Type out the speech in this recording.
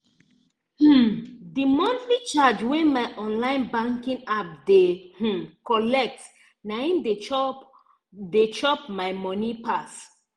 um the monthly charge wey my online banking app dey um collect na hin dey chop dey chop my money pass.